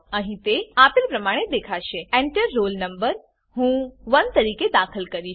અહીં તે આપેલ પ્રમાણે દેખાશે Enter રોલ no હું 1 તરીકે દાખલ કરીશ